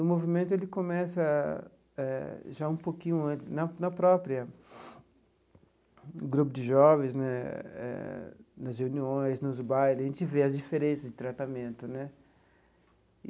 O movimento ele começa eh já um pouquinho antes, na na própria, no grupo de jovens né, eh nas reuniões, nos baile, a gente vê as diferenças de tratamento né.